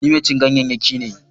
Ni mai cin ganyayyaki ne.